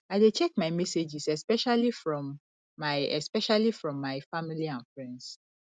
i dey check my messages especially from my especially from my family and friends